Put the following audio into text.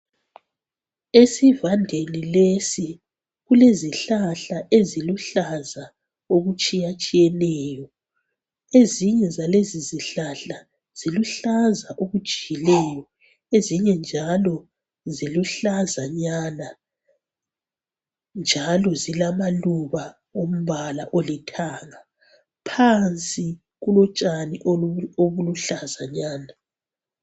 Esivandeni lesi kulezihlahla eziluhlaza okutshiyatshiyeneyo, ezinye zalezi zihlahla ziluhlaza okujiyileyo, ezinye njalo ziluhlaza nyana njalo zilamaluba ombala olithanga , phansi kulotshani obuluhlazanyana.